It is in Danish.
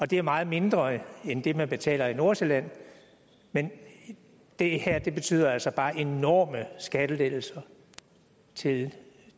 det er meget mindre end det man betaler i nordsjælland men det her betyder altså bare enorme skattelettelser til